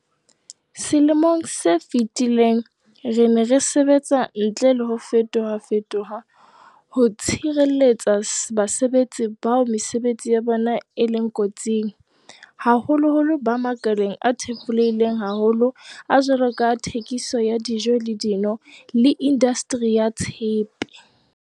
Selemong se fetileng, re ne re sebetsa ntle le ho fetofe toha ho tshireletsa basebetsi bao mesebetsi ya bona e leng ko tsing, haholoholo ba makaleng a thefulehileng haholo a jwalo ka a thekiso, dijo le dino le indastri ya tshepe.